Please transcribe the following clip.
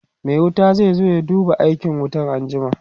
Mai wuta zai zo ya duba aikin wutan anjima